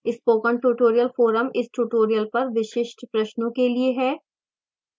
spoken tutorial forum इस tutorial पर विशिष्ट प्रश्नों के लिए है